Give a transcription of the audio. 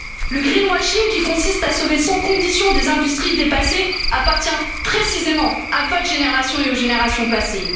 Le greenwashing qui consiste à sauver sans condition des industries dépassées appartient précisément à votre génération et aux générations